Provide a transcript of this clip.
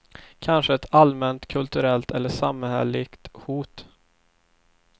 Kanske ett allmänt kulturellt eller samhälleligt hot.